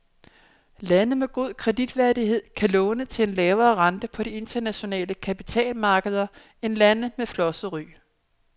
Lande med god kreditværdighed kan låne til en lavere rente på de internationale kapitalmarkeder end lande med flosset ry.